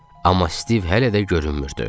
Amma Stiv hələ də görünmürdü.